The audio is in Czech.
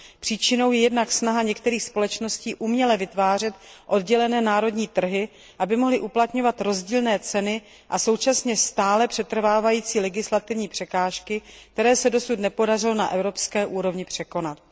Příčinou je jednak snaha některých společností uměle vytvářet oddělené národní trhy, aby mohly uplatňovat rozdílné ceny, a současně stále přetrvávající legislativní překážky, které se dosud nepodařilo na evropské úrovni překonat.